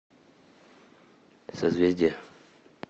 созвездие